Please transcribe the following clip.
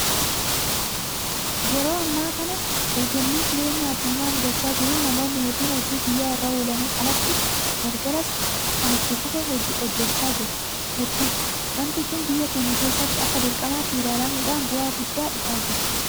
Yeroo ammaa kana dorgommii jireenyaa addunyaa mudachaa jiruun namoonni hedduun hojii guyyaa irra oolaniin alatti galgalas kan itti fufee hojjechaa jiru hedduudha. Waanti kun biyya keenya keessattis akka dirqamaatti ilaalamuudhaan bu'aa guddaan dhufaa jira.